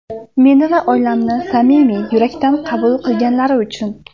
Meni va oilamni samimiy, yurakdan qabul qilganlari uchun.